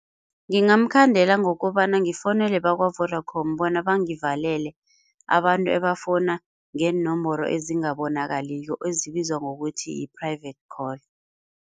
Ngingamkhandela ngokobana ngifowunele bakwa-Vodacom bona bangivalele abantu ebafona ngeenomboro ezingabonakaliko ezibizwa ngokuthi yi-private call.